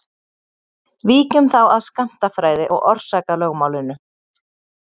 Víkjum þá að skammtafræði og orsakalögmálinu.